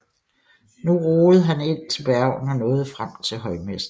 Nu roede han ind til Bergen og nåede frem til højmessen